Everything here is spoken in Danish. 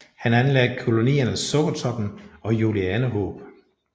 Han anlagde kolonierne Sukkertoppen og Julianehåb